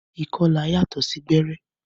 Ìkọlà yàtọ sí gbẹrẹ.